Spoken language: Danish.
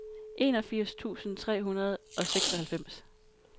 enogfirs tusind tre hundrede og seksoghalvfems